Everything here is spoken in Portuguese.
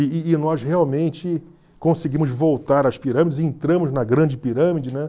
E e e nós realmente conseguimos voltar às pirâmides e entramos na grande pirâmide, né?